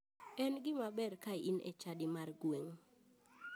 En gima ber ka in e chadi mar gweng'u.